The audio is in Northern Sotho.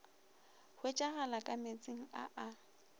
hwetšagalago ka meetseng a a